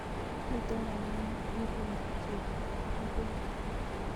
Miten baruet neyobu Chebet agobo Joshua